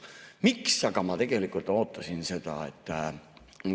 Miks ma aga tegelikult ootasin seda?